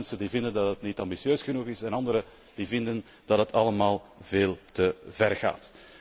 De enen vinden dat het niet ambitieus genoeg is en anderen vinden dat het allemaal veel te ver gaat.